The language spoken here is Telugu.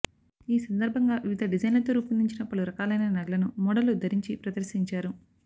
ఈ సందర్భంగా వివిధ డిజైన్లతో రూపొందించిన పలు రకాలైన నగలను మోడళ్లు ధరించి ప్రదర్శించారు